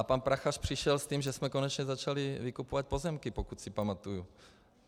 A pan Prachař přišel s tím, že jsme konečně začali vykupovat pozemky, pokud si pamatuji.